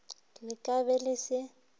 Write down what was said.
le ka be le se